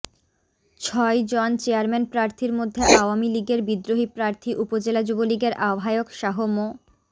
ছয় জন চেয়ারম্যান প্রার্থীর মধ্যে আওয়ামী লীগের বিদ্রোহী প্রার্থী উপজেলা যুবলীগের আহ্বায়ক শাহ মো